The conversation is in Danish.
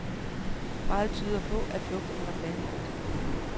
Meget tyder på, at flugten var planlagt.